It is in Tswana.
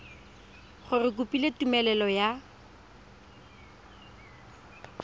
gore o kopile tumelelo ya